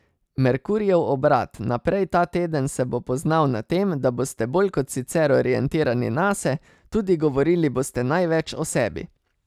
Merkurjev obrat naprej ta teden se bo poznal na tem, da boste bolj kot sicer orientirani nase, tudi govorili boste največ o sebi.